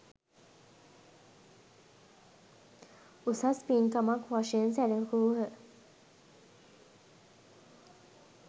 උසස් පින්කමක් වශයෙන් සැලකූහ.